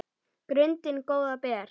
grundin góða ber